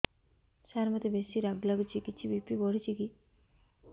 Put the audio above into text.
ସାର ମୋତେ ବେସି ରାଗ ଲାଗୁଚି କିଛି ବି.ପି ବଢ଼ିଚି କି